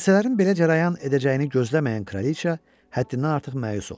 Hadisələrin belə cərəyan edəcəyini gözləməyən kraliça həddindən artıq məyus oldu.